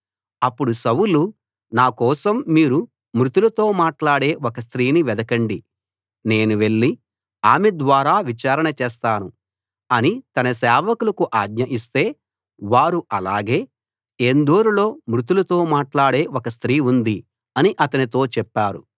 అప్పుడు సౌలు నా కోసం మీరు మృతులతో మాట్లాడే ఒక స్త్రీని వెదకండి నేను వెళ్ళి ఆమె ద్వారా విచారణ చేస్తాను అని తన సేవకులకు ఆజ్ఞ ఇస్తే వారు అలాగే ఏన్దోరులో మృతులతో మాట్లాడే ఒక స్త్రీ ఉంది అని అతనితో చెప్పారు